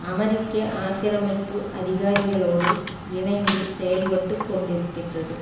அமெரிக்க ஆக்கிரமிப்பு அதிகாரிகளோடு இணைந்து செயல்பட்டு கொண்டிருக்கின்றது